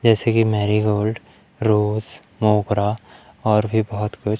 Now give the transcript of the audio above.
जैसे कि marigold rose मोगरा और भी बहुत कुछ--